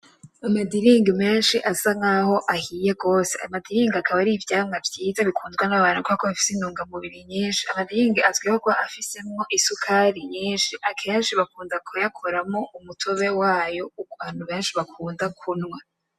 Amadiringi menshi asa nkaho ahiye gose amadiringi akaba ari ivyamwa vyiza bikundwa n'abantu kubera ko bifise intunga mubiri nyinshi amadiringi azwiho kuba afisemwo isukari nyinshi akenshi bakunda kuyakoramwo umutobe wayo abantu benshi bakunda kunywa.